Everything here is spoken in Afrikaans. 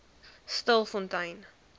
stilfontein